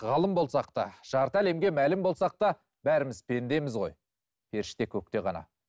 ғалым болсақ та жарты әлемге мәлім болсақ та бәріміз пендеміз ғой періште көкте ғана